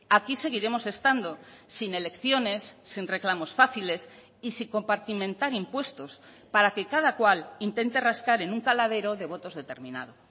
aquí seguiremos estando sin elecciones sin reclamos fáciles y sin compartimentar impuestos para que cada cual intente rascar en un caladero de votos determinado